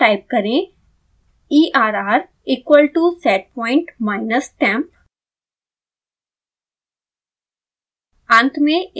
अगली लाइन में टाइप करें err equal to setpoint minus temp